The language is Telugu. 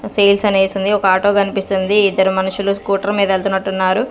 సేల్స్ అనేసుంది ఒక ఆటో గన్పిస్తుంది ఇద్దరు మనుషులు స్కూటర్ మీద వెళ్తన్నట్టునారు.